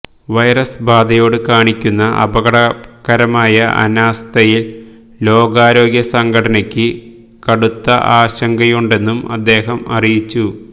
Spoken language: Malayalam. വൈറസ് ബാധയോട് കാണിക്കുന്ന അപകടകരമായ അനാസ്ഥയിൽ ലോകാരോഗ്യ സംഘടനയ്ക്ക് കടുത്ത ആശങ്കയുണ്ടെന്നും അദ്ദേഹം അറിയിച്ചു